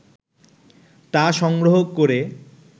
তা সংগ্রহ করে